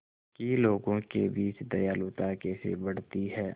कि लोगों के बीच दयालुता कैसे बढ़ती है